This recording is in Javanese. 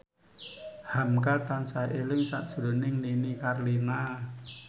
hamka tansah eling sakjroning Nini Carlina